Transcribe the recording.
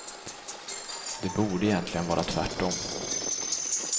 Det borde egentligen vara tvärt om.